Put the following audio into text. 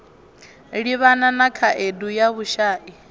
livhana na khaedu ya vhushai